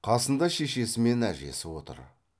қасында шешесі мен әжесі отыр